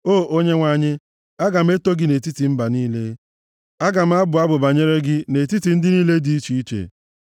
O Onyenwe anyị, aga m eto gị nʼetiti mba niile; aga m abụ abụ banyere gị nʼetiti ndị niile dị iche iche.